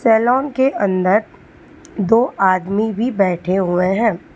Salon के अंदर दो आदमी भी बैठे हुए हैं।